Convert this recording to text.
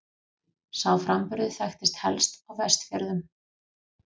Sá framburður þekktist helst á Vestfjörðum.